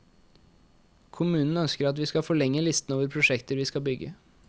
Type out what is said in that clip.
Kommunen ønsker at vi skal forlenge listen over prosjekter vi skal bygge.